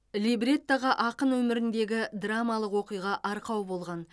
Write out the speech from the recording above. либреттоға ақын өміріндегі драмалық оқиға арқау болған